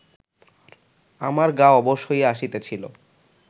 আমার গা অবশ হইয়া আসিতেছিল